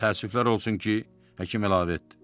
Təəssüflər olsun ki, həkim əlavə etdi.